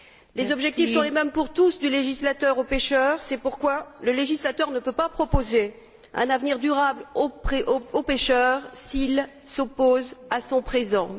Les objectifs sont les mêmes pour tous, du législateur au pêcheur, c'est pourquoi le législateur ne peut pas proposer un avenir durable au pêcheur s'il s'oppose à son présent.